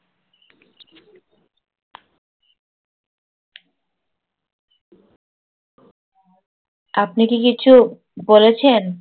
আপনি কি কিছু বলেছেন?